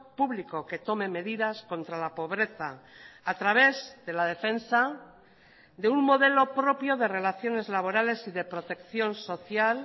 público que tome medidas contra la pobreza a través de la defensa de un modelo propio de relaciones laborales y de protección social